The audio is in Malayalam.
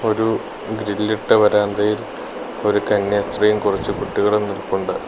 ഒരു ഗ്രില്ലിട്ട വരാന്തയിൽ ഒരു കന്യാസ്ത്രീയും കുറച്ചു കുട്ടികളും നിൽപ്പുണ്ട്.